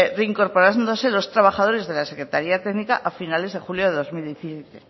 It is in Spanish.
reincorporándose los trabajadores de la secretaría técnica a finales de julio de dos mil diecisiete